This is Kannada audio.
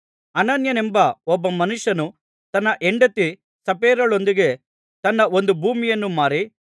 ಅನನೀಯನೆಂಬ ಒಬ್ಬ ಮನುಷ್ಯನು ತನ್ನ ಹೆಂಡತಿ ಸಪ್ಫೈರಳೊಂದಿಗೆ ತನ್ನ ಒಂದು ಭೂಮಿಯನ್ನು ಮಾರಿ